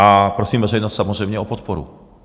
A prosím veřejnost samozřejmě o podporu.